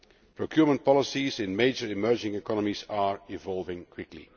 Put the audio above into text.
Procurement policies in major emerging economies are evolving quickly.